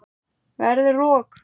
Verður rok.